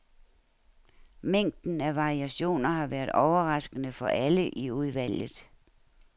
Mængden af variationer har været overraskende for alle i udvalget.